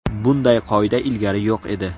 Bunday qoida ilgari yo‘q edi.